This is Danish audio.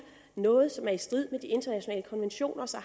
noget som er i strid med de internationale konventioner